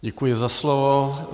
Děkuji za slovo.